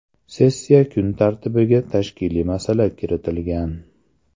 Sessiya kun tartibiga tashkiliy masala kiritilgan.